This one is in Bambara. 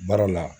Baara la